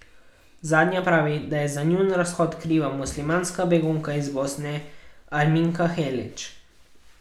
Zadnja pravi, da je za njun razhod kriva muslimanska begunka iz Bosne, Arminka Helić.